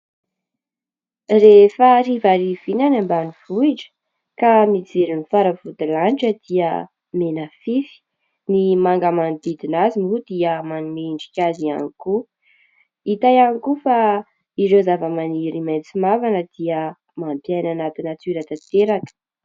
Rehefa harivariva iny any ambanivohitra ka mijery ny faravodilanitra dia menafify. Ny manga manodidina azy moa dia manome endrika azy ihany koa. Hita ihany koa fa ireo zavamaniry maitso mavana dia mampiaina anaty natiora tanteraka.